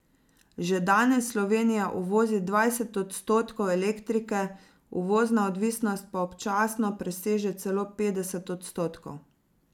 Že danes Slovenija uvozi dvajset odstotkov elektrike, uvozna odvisnost pa občasno preseže celo petdeset odstotkov.